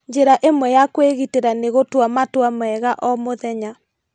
Njĩra ĩmwe ya kwĩgitĩra nĩ gũtua matua mega o mũthenya.